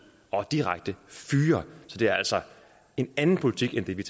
og direkte fyre så det er altså en anden politik end det vi